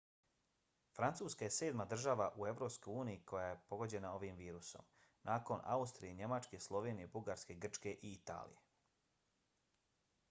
francuska je sedma država u evropskoj uniji koja je pogođena ovim virusom nakon austrije njemačke slovenije bugarske grčke i italije